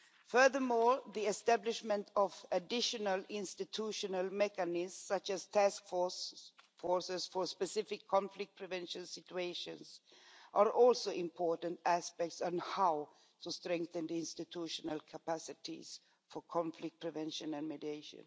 Furthermore, the establishment of additional institutional mechanisms, such as task forces for specific conflict prevention situations, are also important aspects on how to strengthen the institutional capacities for conflict prevention and mediation.